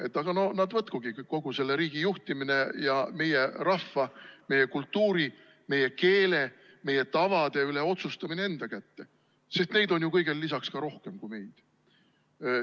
Et aga nad võtkugi kogu selle riigi juhtimine ja meie rahva, meie kultuuri, meie keele, meie tavade üle otsustamine enda kätte, sest neid on kõigele lisaks ka rohkem kui meid?